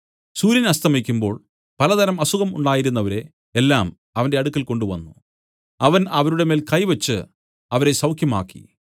സൂര്യൻ അസ്തമിക്കുമ്പോൾ പലതരം അസുഖം ഉണ്ടായിരുന്നവരെ എല്ലാം അവന്റെ അടുക്കൽ കൊണ്ടുവന്നു അവൻ അവരുടെ മേൽ കൈവച്ചു അവരെ സൌഖ്യമാക്കി